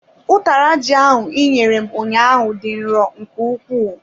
Utara ji ahụ inyere m ụnyaahụ dị nro nke ukwuu.